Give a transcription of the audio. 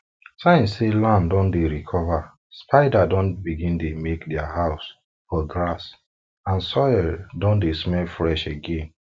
signs say land don dey recover spider don begin make dia house for grass and soil don dey smell fresh again